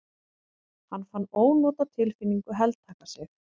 Hann fann ónotatilfinningu heltaka sig.